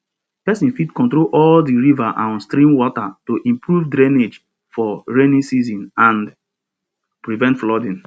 person fit control all di river and stream water to improve drainage for rainy season and prevent flooding